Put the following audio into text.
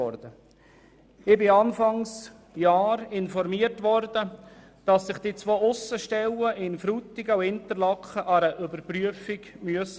Ich wurde Anfang Jahr informiert, dass sich die beiden Aussenstellen Frutigen und Interlaken einer Überprüfung unterziehen lassen müssen.